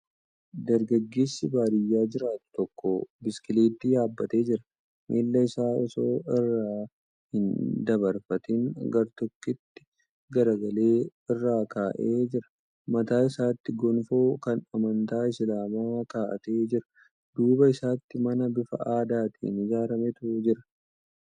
Dargaggeessi baadiyyaa jiraatu tokko biskileettii yaabbatee jira. Miila isaa osoo irra hin dabarfatin gar tokkotti garagalee irra kaa'ee jira. Mataa isaatti gonfoo kan amantaa Isilaamaa kaa'atee jira. Duuba isaatiin mana bifa aadaatiin ijaarametu jira.